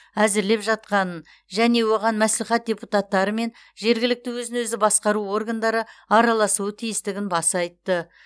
әзірлеп жатқанын және оған мәслихат депутаттары мен жергілікті өзін өзі басқару органдары араласуы тиістігін баса айтты